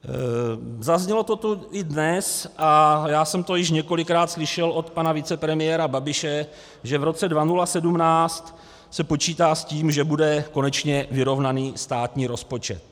Zaznělo to tu i dnes a já jsem to již několikrát slyšel od pana vicepremiéra Babiše, že v roce 2017 se počítá s tím, že bude konečně vyrovnaný státní rozpočet.